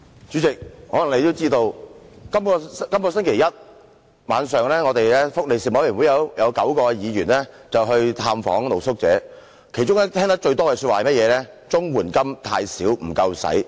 主席，可能你也知道，本星期一晚上福利事務委員會有9位議員去了探訪露宿者，其中聽得最多的說話是綜援金太少，不敷應用。